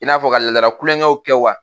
I n'a fɔ ka laadala kulonkɛw kɛ wa